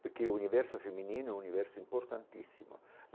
Porque o universo feminino é um universo importantíssimo.